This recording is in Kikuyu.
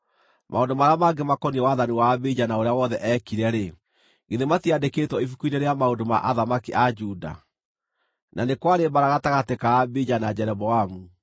Maũndũ marĩa mangĩ makoniĩ wathani wa Abija na ũrĩa wothe eekire-rĩ, githĩ matiandĩkĩtwo ibuku-inĩ rĩa maũndũ ma athamaki a Juda? Na nĩ kwarĩ mbaara gatagatĩ ka Abija na Jeroboamu.